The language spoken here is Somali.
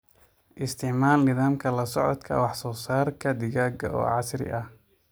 Isticmaal nidaamka la socodka wax-soo-saarka digaaga oo casri ah.